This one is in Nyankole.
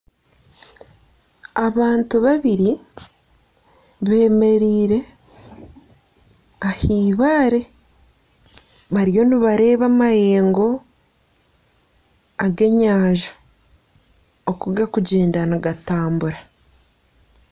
Abantu babiri beemereire aha ibaare bariyo nibareeba amayengo ag'enyanja oku garikugyenda nigatambura